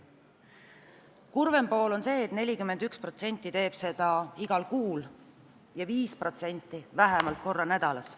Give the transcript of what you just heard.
Kurvem fakt on see, et 41% teeb seda igal kuul ja 5% vähemalt korra nädalas.